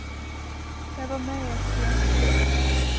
Jeg var med i et studentkor.